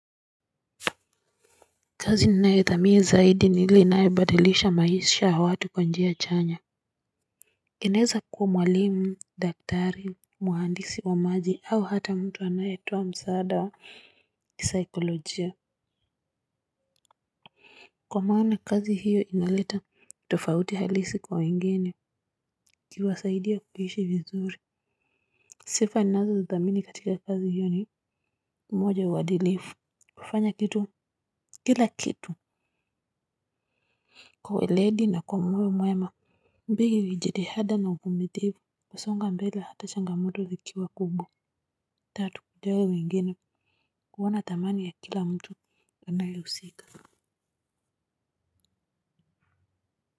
Kazi ninayothamini zaidi ni ile inayobadilisha maisha ya watu kwa njia chanya inaeza kuwa mwalimu, daktari, mhandisi wa maji au hata mtu anayetoa msaada kisaikolojia. Kwa maana kazi hiyo inaleta tofauti halisi kwa wengine ikiwasaidia kuishi vizuri sifa ninazozithamini katika kazi hiyo ni moja, uadilifu kufanya kila kitu kwa uweledi na kwa moyo mwema mbili jitihada na uvumilivu kusonga mbele ata changamoto zikiwa kubwa. Tatu kujali wengine kuona thamani ya kila mtu anayehusika.